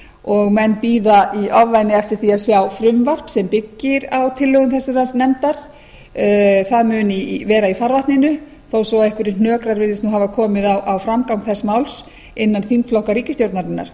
og menn bíða í ofvæni eftir því að sjá frumvarp sem byggir á tillögum þessarar nefndar það virðist vera í farvatninu þó svo að einhverjir hnökrar virðist hafa komið á framgang þess máls innan þingflokka ríkisstjórnarinnar